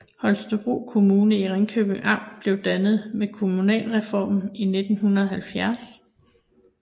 Holstebro Kommune i Ringkøbing Amt blev dannet ved kommunalreformen i 1970